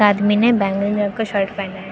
आदमी ने बैंगनी रंग का शर्ट पहना है।